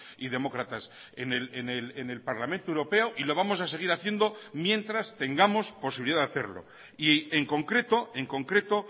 y demócratas en el parlamento europeo y lo vamos a seguir haciendo mientras tengamos posibilidad de hacerlo y en concreto en concreto